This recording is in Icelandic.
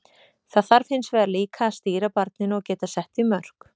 Það þarf hins vegar líka að stýra barninu og geta sett því mörk.